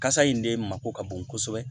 Kasa in de mako ka bon kosɛbɛ